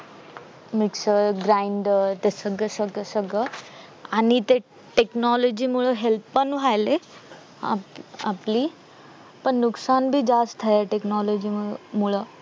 mixer grander ते सगळं सगळं सगळं आणि ते technology मुले help पण व्हायलेय आपली पण नुकसान पण जास्त आहे technology मूळ